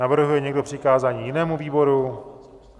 Navrhuje někdo přikázání jinému výboru?